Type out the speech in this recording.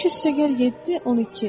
5 + 7 = 12.